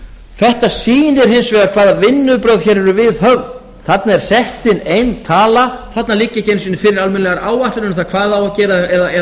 þetta sýnir hins vegar hvaða vinnubrögð hér eru viðhöfð þarna er sett inn ein tala þarna liggja ekki einu sinni fyrir almennilegar áætlanir um hvað á að gera eða